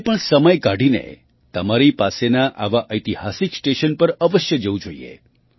તમારે પણ સમય કાઢીને તમારી પાસેના આવા ઐતિહાસિક સ્ટેશન પર અવશ્ય જવું જોઈએ